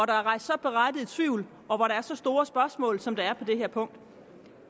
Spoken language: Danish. der er rejst så berettiget tvivl om og når der er så store spørgsmål som der er på det her punkt